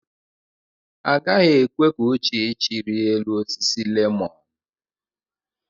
Agaghị ekwe ka Uchechi rịa elu osisi lemọn.